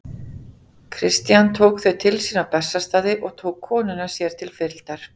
Christian tók þau til sín á Bessastaði og tók konuna sér til fylgdar.